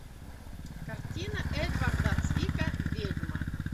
картина эдварда цвика ведьма